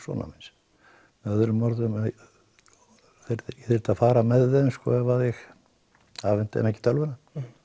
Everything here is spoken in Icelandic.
sonar míns með öðrum orðum að ég þyrfti að fara með þeim ef ég afhenti þeim ekki tölvuna